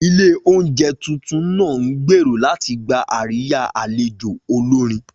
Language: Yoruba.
Ilé oúnjẹ tuntun náà ń gbèrò láti gba àríyá àlejò olórin